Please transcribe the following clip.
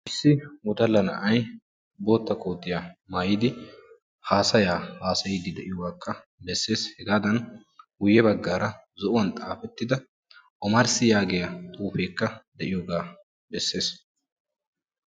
Issi wodala naa'ay bootta koottiya maayidi haassaya haasayide de'iyoogakka beessees. Hegadankka guyye baggaara zo"uwan xaafetida omarssi yaagiya xuufekka de'iyooga beessees.